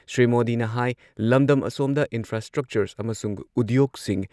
ꯁ꯭ꯔꯤ ꯃꯣꯗꯤꯅ ꯍꯥꯏ ꯂꯝꯗꯝ ꯑꯁꯣꯝꯗ ꯏꯟꯐ꯭ꯔꯥꯁ꯭ꯇ꯭ꯔꯛꯆꯔ ꯑꯃꯁꯨꯡ ꯎꯗ꯭ꯌꯣꯛꯁꯤꯡ